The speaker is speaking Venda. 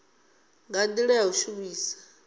nga ndila ya u shumisa